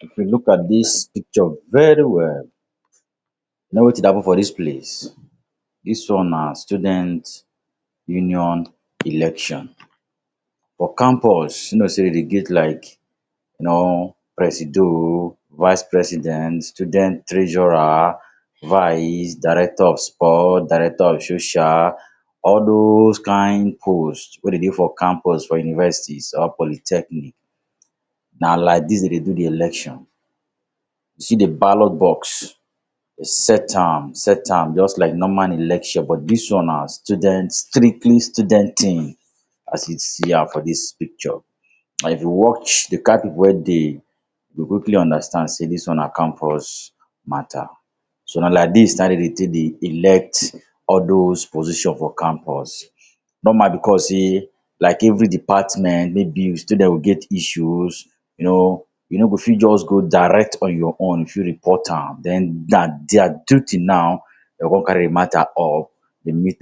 If you look at dis picture very well, you know wetin dey happen for dis place? Dis one na student union election. For campus sey dem dey get like know presido, vice president, student treasurer, vice, director of sport, director of social, all those kind post wey dey for campus for universities or polytechnic. Na like dis dem dey do di election. You see de ballot box, you go set am, set am just like normal election. But, dis one na student strictly student thing as you see am for dis picture. And if you watch di kind pipu wey dey, you go quickly understand sey dis one na campus matter. So, na like dis na dem dey take dey elect all those position for campus. Normal because sey like every department maybe student go get issues you know, you no go fit just go direct on your own fit report am. Then na their duty now, dem go come carry de matter up dem meet